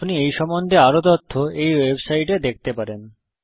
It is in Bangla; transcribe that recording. আপনি এই সম্বন্ধে আরও তথ্য এই ওয়েবসাইটে দেখতে পারেন